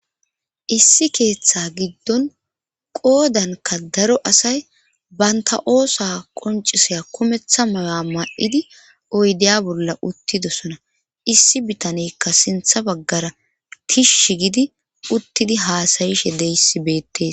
issi keeththa giddon qoodanka daro asay banta oosa qoncisaya kumeththa mayo7a ma7idi oydeya bolla uttidosona issi bitanekka sintha baggara tishsh gidi uttidi haasayishe deissi beettees